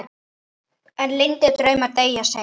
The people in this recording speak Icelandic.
En leyndir draumar deyja seint.